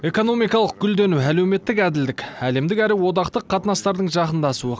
экономикалық гүлдену әлеуметтік әділдік әлемдік әрі одақтық қатынастардың жақындасуы